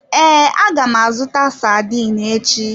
Ee, aga m azụta sardine echi.